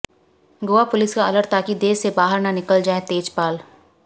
Goa police का अलर्ट ताकि देश से बाहर न निकल जाएं तेजपाल